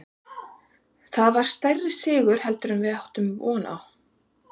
Þetta var stærri sigur heldur en við áttum von á.